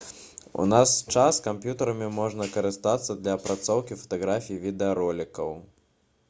у наш час камп'ютэрамі можна карыстацца для апрацоўкі фатаграфій і відэаролікаў